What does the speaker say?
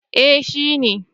Eh shi ne